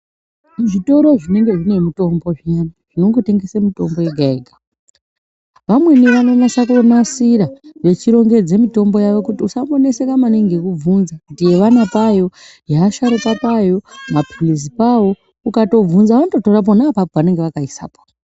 Zvitoro zvinenge zvine mitombo zviyani zvinongotengesa mitombo yega yega vamweni vanonasa kunasira vechirongedza mitombo yavo kuti usamboneseka maningi ngekubvunza kuti yevana payo yevasharuka payo maphirizi pavo ukatobvunza vanototora pona apapo pavakaisapo.